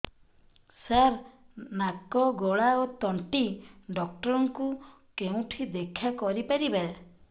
ସାର ନାକ ଗଳା ଓ ତଣ୍ଟି ଡକ୍ଟର ଙ୍କୁ କେଉଁଠି ଦେଖା କରିପାରିବା